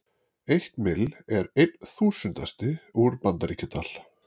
Eitt mill er einn þúsundasti úr Bandaríkjadal.